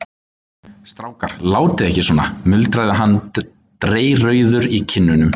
Strákar, látið ekki svona muldraði hann dreyrrauður í kinnum.